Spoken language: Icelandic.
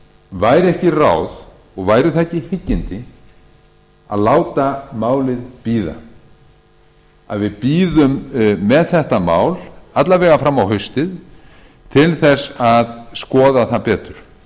væri ekki ráð og væru það ekki hyggindi að láta málið bíða að við bíðum með þetta mál alla vega fram á haustið til þess að skoða það betur